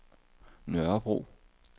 Nørrebro